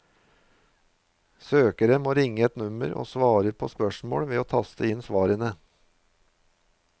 Søkere må ringe et nummer og svare på spørsmål ved å taste inn svarene.